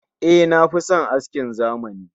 Eh, na fi son askin zamani